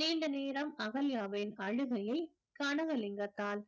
நீண்ட நேரம் அகல்யாவின் அழுகையை கனகலிங்கத்தால்